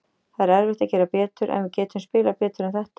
Það er erfitt að gera betur, en við getum spilað betur en þetta.